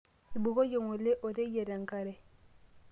ibukoyie ngole oreyiet enkare